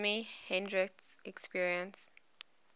jimi hendrix experience